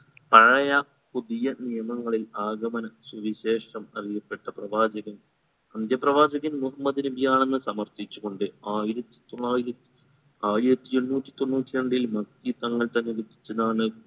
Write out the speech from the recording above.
പഴയ പുതിയ നിയമങ്ങളിൽ ആഗമന സുവിശേഷം അറിയപ്പെട്ട പ്രവാചകൻ അന്ത്യ പ്രവാചകൻ മുഹമ്മദ് നബിയാണെന്ന് സമർത്ഥിച്ചു കൊണ്ട് ആയിരത്തി തൊള്ളായിരത്തി ആയിരത്തി എണ്ണൂറ്റി തൊണ്ണൂറ്റി രണ്ടിൽ മത്തി തങ്ങൾ തന്നെ രചിച്ചതാണ്